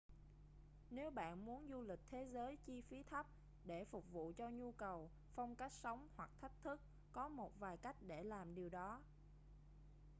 nếu bạn muốn du lịch thế giới chi phí thấp để phục vụ cho nhu cầu phong cách sống hoặc thách thức có một vài cách để làm điều đó